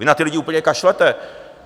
Vy na ty lidi úplně kašlete.